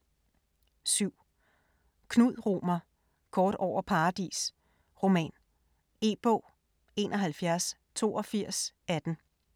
7. Romer, Knud: Kort over Paradis: roman E-bog 718218